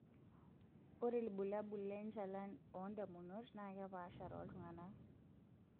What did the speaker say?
Ore ilbulabul lenchalan oondamunot naa kepaasha tooltung'ana.